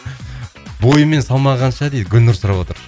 бойы мен салмағы қанша дейді гүлнұр сұрап отыр